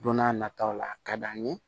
Don n'a nataw la a ka d'an ye